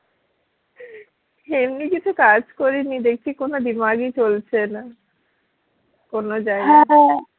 এমনি কিছু কাজ করিনি দেখছি কোনো দিমাগ ই চলছে না কোনো